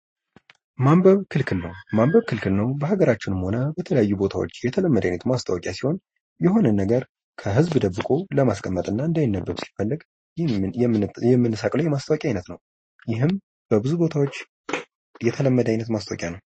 ማንበብ ክልክል ነው ማንበብ ክልክል ነው በሀገራችንም ሆነ በተለያዩ ቦታዎች የተለመደ አይነት ማስታወቂያ ሲሆን የሆነ ነገር ከህዝብ ደብቆ ለማስቀመጥ እና እንዳይነበብ ሲፈለግ ይሄንን የምንሰቅለው የማስታወቂያ አይነት ነው:: ይህም በብዙ ቦታዎች የተለመደ አይነት ማስታወቂያ ነው::